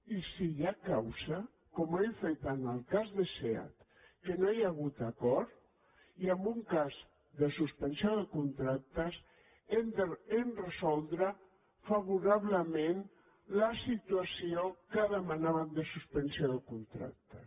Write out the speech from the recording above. i si hi ha causa com hem fet en el cas de seat en què no hi ha hagut acord i en un cas de suspensió de contractes hem de resoldre favorablement la situació que demanaven de suspensió de contractes